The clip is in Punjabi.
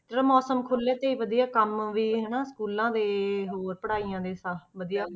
ਚਲੋ ਮੌਸਮ ਖੁੱਲੇ ਤੇ ਹੀ ਵਧੀਆ ਕੰਮ ਵੀ ਹਨਾ schools ਦੇ ਹੋਰ ਪੜ੍ਹਾਈਆਂ ਦੇ ਸਭ ਵਧੀਆ।